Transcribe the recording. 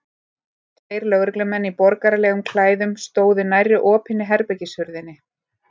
Tveir lögreglumenn í borgaralegum klæðum stóðu nærri opinni herbergishurðinni.